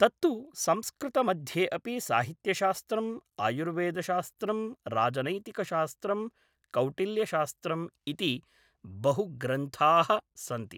तत्तु संस्कृतमध्ये अपि साहित्यशास्त्रं आयुर्वेदशास्त्रं राजनैतिकशास्त्रं कौटिल्यशास्त्रम् इति बहु ग्रन्थाः सन्ति